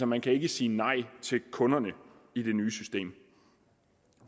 man ikke sige nej til kunderne i det nye system